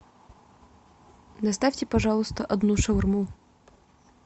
доставьте пожалуйста одну шаурму